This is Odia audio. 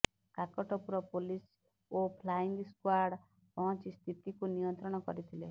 କାକଟପୁର ପୋଲିସ ଓ ଫ୍ଲାଇଙ୍ଗ ସ୍କ୍ବାଡ୍ ପହଞ୍ଚି ସ୍ଥିତିକୁ ନିୟନ୍ତ୍ରଣ କରିଥିଲେ